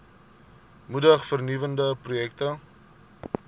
moedig vernuwende projekte